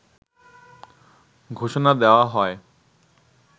ঘোষণা দেয়া হয়